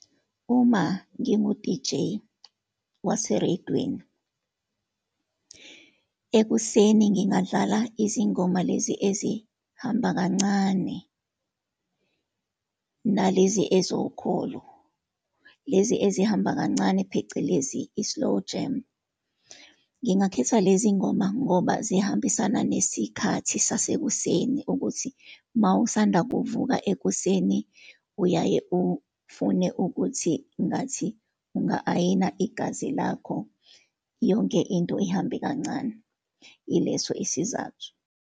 Uma ngingu-deejay wasereyidweni, ekuseni ngingadlala izingoma lezi ezihamba kancane, nalezi ezokholo. Lezi ezihamba kancane, phecelezi i-slowjam. Ngingakhetha lezi ngoma ngoba zihambisana nesikhathi sasekuseni, ukuthi uma usanda kuvuka ekuseni, uyaye ufune ukuthi ngathi unga-ayina igazi lakho, yonke into ihambe kancane. Yileso isizathu.